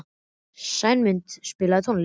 Sæmunda, spilaðu tónlist.